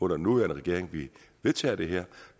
den nuværende regering vi vedtager det her